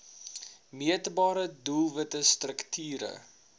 meetbare doelwitte strukture